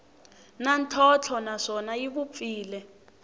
na ntlhontlho naswona yi vupfile